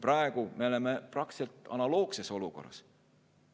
Praegu me oleme analoogses olukorras.